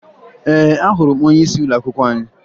Ee, ahụrụ m onyeisi ụlọakwụkwọ anyị